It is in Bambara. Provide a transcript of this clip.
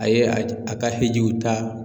A ye a j a ka hijiw ta